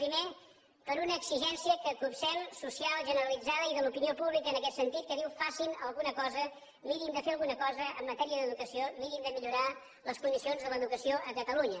primer per una exigència que copsem social generalitzada i de l’opinió pública en aquest sentit que diu facin alguna cosa mirin de fer alguna cosa en matèria d’educació mirin de millorar les condicions de l’educació a catalunya